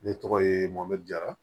Ne tɔgɔ ye mɔmjara